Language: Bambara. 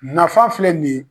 Nafa filɛ nin yen.